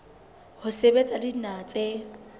ho sebetsa le dinaha tse